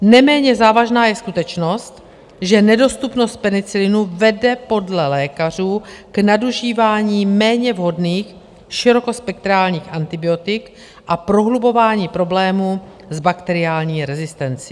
Neméně závažná je skutečnost, že nedostupnost penicilinu vede podle lékařů k nadužívání méně vhodných širokospektrálních antibiotik a prohlubování problémů s bakteriální rezistencí.